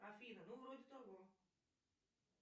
афина ну вроде того